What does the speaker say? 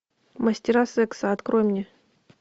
мастера секса открой мне